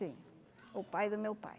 Sim, o pai do meu pai.